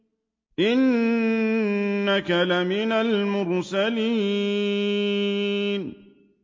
إِنَّكَ لَمِنَ الْمُرْسَلِينَ